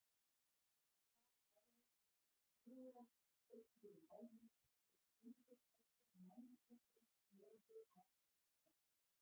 Þar lá hún: hrúgald af beygluðum málmum og sundurtættum mannsbúkum, blóði atað brak.